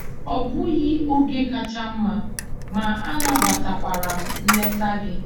Ọ bụghị oge kacha mma, ma anabatakwara m nleta gị.